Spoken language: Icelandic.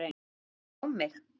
Rjúka á mig?